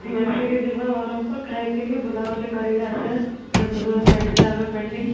ମିସିକି ଯିବା ବରମପୁର ଖାଇ ପିଇ କି ବୁଲାବୁଲି କରିକି ଆସିବା pending